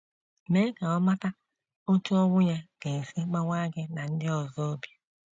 Mee ka ọ mata otú ọnwụ ya ga - esi gbawaa gị na ndị ọzọ obi.